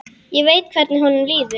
Ég veit hvernig honum líður.